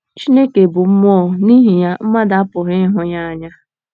“ Chineke bụ Mmụọ, ” n’ihi ya, mmadụ apụghị ịhụ ya anya.